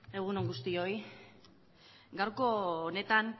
egun on guztioi gaurko honetan